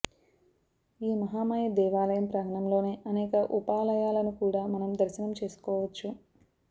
ఈ మహామాయ దేవాలయం ప్రాంగణంలోనే అనేక ఉపాలయాలను కూడా మనం దర్శనం చేసుకోవచ్చు